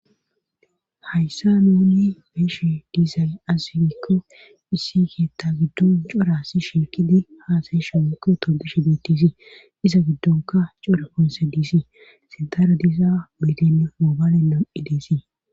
Hayssa nuuni meeshi diisay asigikko issi keetta giddon cora si shiikidi haasayeshamikko todishe bettisi iza giddonka core ponse diisi sintara diisa midemm moobayale noo'i deesii.